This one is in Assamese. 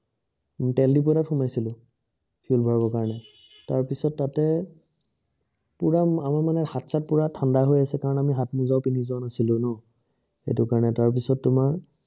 তেল দিপো এটাত সোমাইছিলো তেল ভৰাব কাৰণে তাৰ পিছত তাতে পুৰা মানে হাত চাত ঠাণ্ডা হৈ আছে কাৰণ আমি হাত মুজাও পিন্ধি যোৱা নাছিলোঁ ন এইটো কাৰণে তাৰ পিছত তোমাৰ